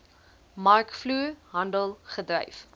markvloer handel gedryf